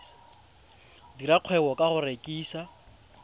dira kgwebo ka go rekisa